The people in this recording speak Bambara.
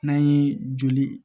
N'an ye joli